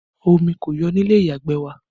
Omi kò yọ ní ilé ìyàgbẹ̀ wa